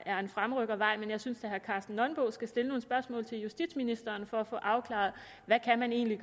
er en fremrykkervej men jeg synes da herre karsten nonbo skal stille nogle spørgsmål til justitsministeren for at få afklaret hvad man egentlig